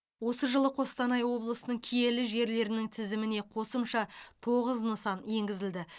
осы жылы қостанай облысының киелі жерлерінің тізіміне қосымша тоғыз нысан енгізілді